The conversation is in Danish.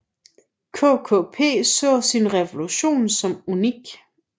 KKP så sin revolution som unik